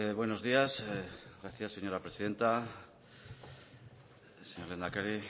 buenos días gracias señora presidenta señor lehendakari